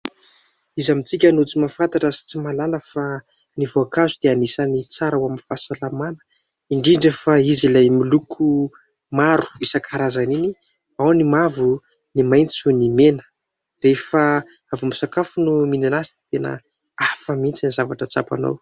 Iza amintsika no tsy mahafantatra sy tsy mahalala fa ny voankazo dia anisany tsara ho an'ny fahasalamana, indrindra fa izy ilay miloko maro isan-karazany iny, ao ny mavo, ny maitso ny mena. Rehefa avy misakafo no mihinana azy dia tena hafa mihitsy ny zavatra tsapanao.